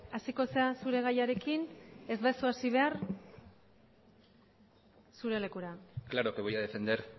hasiko zara zure gaiarekin ez baduzu hasi behar zure lekura claro que voy a defender